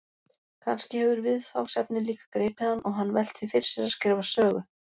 Kannski hefur viðfangsefnið líka gripið hann og hann velt því fyrir sér að skrifa sögu?